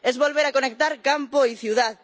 es volver a conectar campo y ciudad